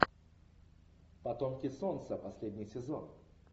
потомки солнца последний сезон